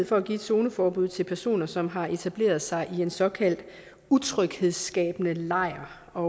for at give et zoneforbud til personer som har etableret sig i en såkaldt utryghedsskabende lejr og